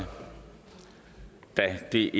det